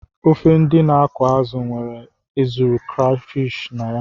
Ofe ndị na-akụ azụ nwere ezuru crayfish na ya.